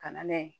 Ka na n'a ye